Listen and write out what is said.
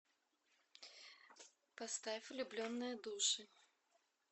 поставь влюбленные души